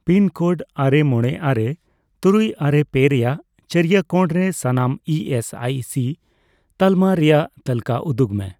Pin code ᱟᱨᱮ ᱢᱚᱬᱮ ᱟᱨᱮ ᱛᱩᱨᱩᱭ ᱟᱨᱮ ᱯᱮ ᱨᱮᱭᱟᱜ ᱪᱟᱹᱨᱭᱳ ᱠᱚᱬᱨᱮ ᱥᱟᱱᱟᱢ ᱤ ᱮᱥ ᱟᱭ ᱥᱤ ᱛᱟᱞᱢᱟ ᱨᱮᱭᱟᱜ ᱛᱟᱞᱠᱟᱹ ᱩᱫᱩᱜᱽ ᱢᱮ ᱾